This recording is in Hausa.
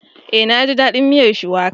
Eh naji dadin miyar Shuwaka